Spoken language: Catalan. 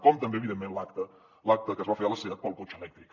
com també evidentment l’acte que es va fer a la seat pel cotxe elèctric